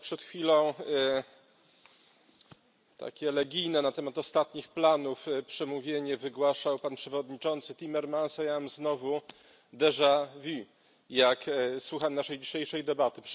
Przed chwilą takie elegijne na temat ostatnich planów przemówienie wygłaszał przewodniczący Timmermans. A ja mam znowu jak słucham naszej dzisiejszej debaty.